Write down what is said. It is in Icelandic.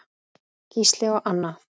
Gísli og Anna.